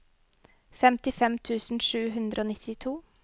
femtifem tusen sju hundre og nittito